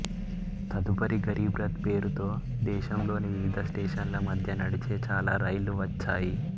తదుపరి గరీబ్ రథ్ పేరుతో దేశంలోని వివిధ స్టేషన్ల మధ్య నడిచే చాలా రైళ్లు వచ్చాయి